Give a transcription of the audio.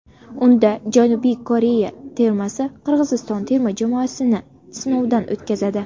Unda Janubiy Koreya termasi Qirg‘iziston terma jamoasini sinovdan o‘tkazadi.